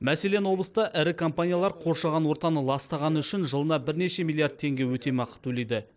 мәселен облыста ірі компаниялар қоршаған ортаны ластағаны үшін жылына бірнеше миллиард теңге өтемақы төлейді